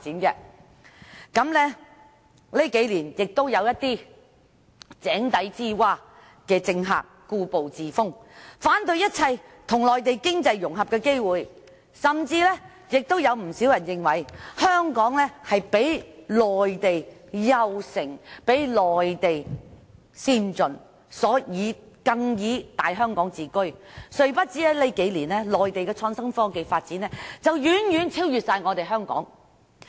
在這數年，有一些如井底之蛙的政客故步自封，反對一切與內地經濟融合的機會，甚至有不少人認為，香港較內地優勝和先進，更以"大香港"自居，殊不知在這數年間，內地的創新科技發展已遠遠超越香港。